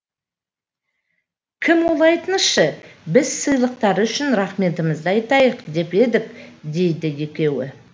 кім ол айтыңызшы біз сыйлықтары үшін рахметімізді айтайық деп едік дейді екеуі